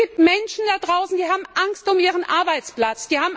Es gibt Menschen da draußen, die haben Angst um ihren Arbeitsplatz.